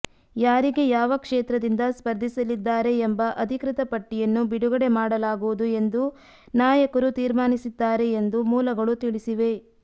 ಯಾರಿಗೆ ಯಾವ ಕ್ಷೇತ್ರದಿಂದ ಸ್ಪರ್ಧಿಸಲಿದ್ದಾರೆ ಎಂಬ ಅಧಿಕೃತ ಪಟ್ಟಿಯನ್ನು ಬಿಡುಗಡೆ ಮಾಡಲಾಗುವುದು ಎಂದು ನಾಯಕರು ತೀರ್ಮಾನಿಸಿದ್ದಾರೆ ಎಂದು ಮೂಲಗಳು ತಿಳಿಸಿವೆ